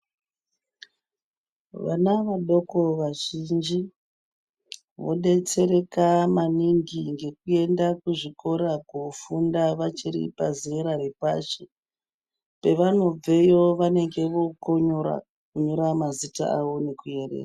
Vana vadoko vazhinji vodetsereka maningi ngekuenda kuzvikora koofunda vachiri pazera repashi. Pevanobveyo vanonga vookona kunyora mazita avo nekuerenga.